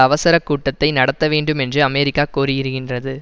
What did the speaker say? அவசர கூட்டத்தை நடத்த வேண்டுமென்று அமெரிக்கா கோரியிருகின்றது